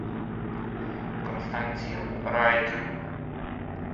константин райкин